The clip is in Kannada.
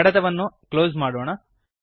ಕಡತವನ್ನು ಅನ್ನು ಕ್ಲೋಸ್ ಮಾಡೋಣ